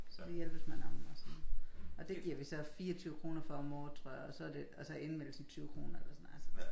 Det hjælpes man om og sådan og det giver vi så 24 kroner for om året tror jeg og så det og så indmeldelsen 20 kroner